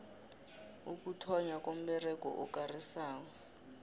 ukuthonnywa komberego okarisako